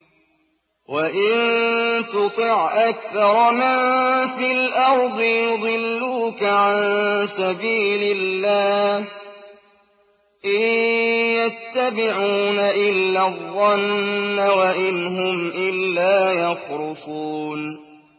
وَإِن تُطِعْ أَكْثَرَ مَن فِي الْأَرْضِ يُضِلُّوكَ عَن سَبِيلِ اللَّهِ ۚ إِن يَتَّبِعُونَ إِلَّا الظَّنَّ وَإِنْ هُمْ إِلَّا يَخْرُصُونَ